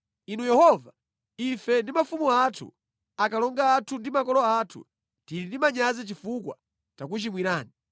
Inu Yehova, ife ndi mafumu athu, akalonga athu ndi makolo athu tili ndi manyazi chifukwa takuchimwirani.